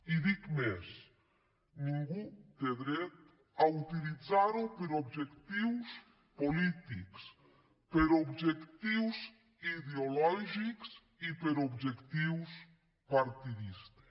i dic més ningú té dret a utilitzar ho per a objectius polítics per a objectius ideològics i per a objectius partidistes